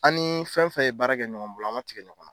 An ni fɛn fɛn ye baara kɛ ɲɔgɔn bolo an man tigɛ ɲɔgɔn na.